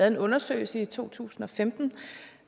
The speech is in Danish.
en undersøgelse i to tusind og femten